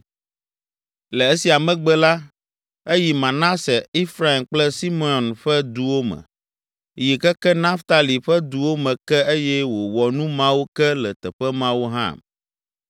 Le esia megbe la, eyi Manase, Efraim kple Simeon ƒe duwo me, yi keke Naftali ƒe duwo me ke eye wòwɔ nu mawo ke le teƒe mawo hã.